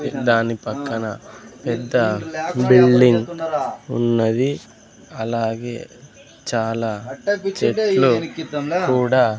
దాని పక్కన పెద్ద బిల్డింగ్ ఉన్నది అలాగే చాలా చెట్లు కూడా--